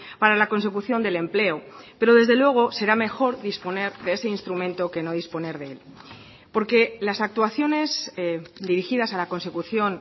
para la consecución del empleo pero desde luego será mejor disponer de ese instrumento que no disponer de él porque las actuaciones dirigidas a la consecución